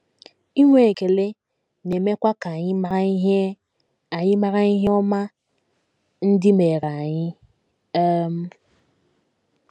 Inwe ekele na - emekwa ka anyị mara ihe anyị mara ihe ọma ndị meere anyị. um